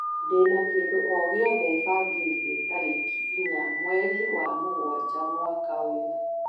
ndĩna kĩndũ o gĩothe bangĩire tarĩki inya mweri wa mũgwanja mwaka ũyũ